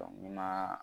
ni ma